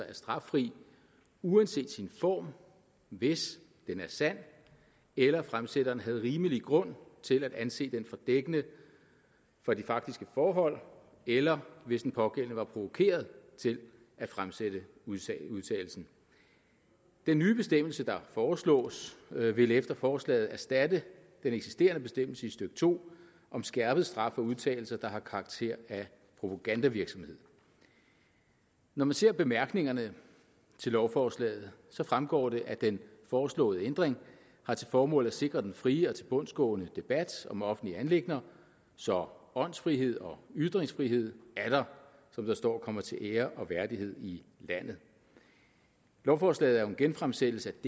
er straffri uanset sin form hvis den er sand eller fremsætteren havde rimelig grund til at anse den for dækkende for de faktiske forhold eller hvis den pågældende var provokeret til at fremsætte udtalelsen den nye bestemmelse der foreslås vil efter forslaget erstatte den eksisterende bestemmelse i stykke to om skærpet straf for udtalelser der har karakter af propagandavirksomhed når man ser bemærkningerne til lovforslaget fremgår det at den foreslåede ændring har til formål at sikre den frie og tilbundsgående debat om offentlige anliggender så åndsfrihed og ytringsfrihed atter som der står kommer til ære og værdighed i landet lovforslaget er jo en genfremsættelse af